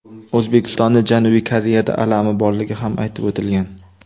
O‘zbekistonning Janubiy Koreyada alami borligi ham aytib o‘tilgan.